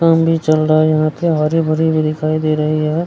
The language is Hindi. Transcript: काम भी चल रही है यहां पे हरी-भरी भी दिखाई दे रही है।